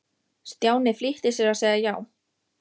Stjáni flýtti sér að segja já.